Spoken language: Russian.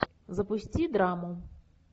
запусти драму